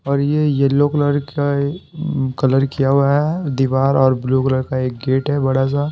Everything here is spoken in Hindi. और ये येलो कलर का कलर किया हुआ है दीवार और ब्लू कलर का एक गेट है बड़ा सा।